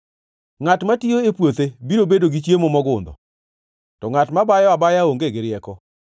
Ngʼat matiyo e puothe biro bedo gi chiemo mogundho, to ngʼat mabayo abaya onge gi rieko.